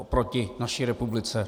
Oproti naší republice?